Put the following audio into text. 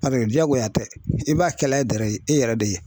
jagoya tɛ i b'a kɛla i yɛrɛ de ye.